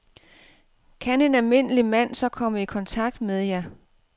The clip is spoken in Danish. Kan en almindelig mand så komme i kontakt med jer?